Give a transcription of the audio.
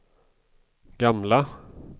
gamla